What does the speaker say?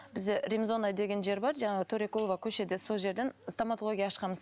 бізде римзона деген жер бар жаңағы төрекулова көшеде сол жерден стоматология ашқанбыз